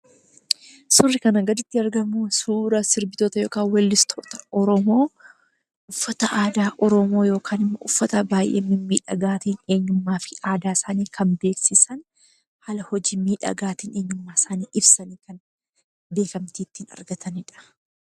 Suurri kana gaditti argamu suuraa sirbitoota yookan weellistoota Oromoo uffata aadaaa Oromo yookaan ammo uffata baay'ee mimmidhagaatiin eenyummaafi aadaa isaanii kan beeksisan, kan hojii miidhagaatin kan eennyummaa isaanii ibsan beekamtii itti argatanidha.